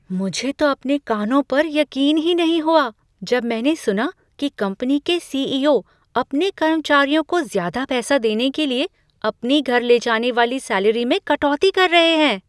मुझे तो अपने कानों पर यकीन ही नहीं हुआ जब मैंने सुना की कंपनी के सी.ई.ओ. अपने कर्मचारियों को ज़्यादा पैसे देने के लिए, अपनी घर ले जाने वाली सैलरी में कटौती कर रहे हैं।